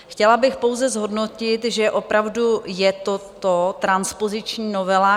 Chtěla bych pouze zhodnotit, že opravdu je to transpoziční novela.